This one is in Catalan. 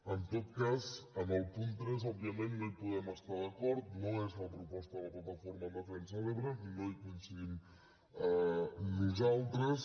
en tot cas en el punt tres òbviament no hi podem estar d’acord no és la proposta de la plataforma en defensa de l’ebre no hi coincidim nosaltres